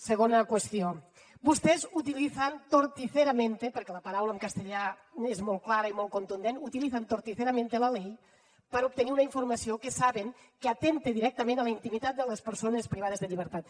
segona qüestió vostès utilizan torticeramente perquè la paraula en castellà és molt clara i molt contundent utilizan torticeramente la ley per a obtenir una informació que saben que atempta directament a la intimitat de les persones privades de llibertat